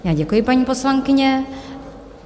Já děkuji, paní poslankyně.